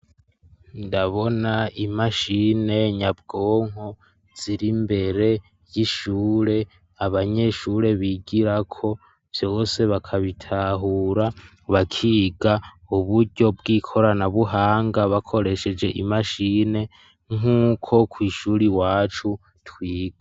Ndabona imashine, nyabwonko ,ziri mbere y'ishure, abanyeshure bigirako ,vyose bakabitahura bakiga uburyo bw'ikoranabuhanga ,bakoresheje imashine nk'uko kw' ishuri wacu twiga.